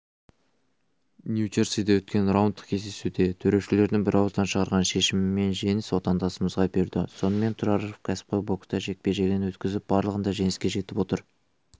нью-джерсиде өткен раундтық кездесуде төрешілердің бірауыздан шығарған шешімімен жеңіс отандасымызға бұйырды сонымен тұраров кәсіпқой бокста жекпе-жегін өткізіп барлығында жеңіске жетіп отыр